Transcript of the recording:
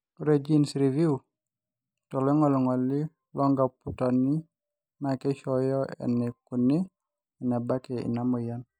ore gene reviews te loingangi loocomputani naa keishooyo eneikuni enebaki ina moyian